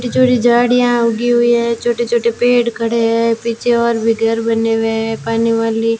छोटी छोटी झाड़ियां उगी हुई है छोटे छोटे पेड़ खड़े है पीछे और भी घर बने हुए है पानी वाली--